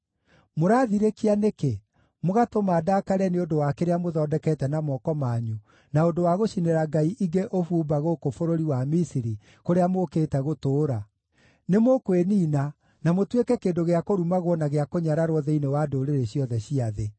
Mũraathirĩkia nĩkĩ, mũgatũma ndaakare nĩ ũndũ wa kĩrĩa mũthondekete na moko manyu na ũndũ wa gũcinĩra ngai ingĩ ũbumba gũkũ bũrũri wa Misiri, kũrĩa mũũkĩte gũtũũra? Nĩmũkwĩniina na mũtuĩke kĩndũ gĩa kũrumagwo na gĩa kũnyararwo thĩinĩ wa ndũrĩrĩ ciothe cia thĩ.